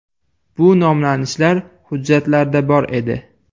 Bu nomlanishlar hujjatlarda bor edi.